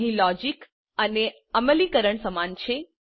અહીં લોજીક અને અમલીકરણ સમાન છે